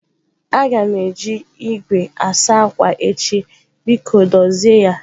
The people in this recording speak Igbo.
Aga m eji igwe asa akwa echi biko dozie ya.